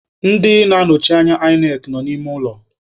Ndị na-anọchite anya INEC nọ n'ime ụlọ.